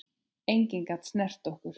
Enginn gat snert okkur.